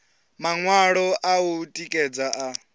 maṅwalo a u tikedza a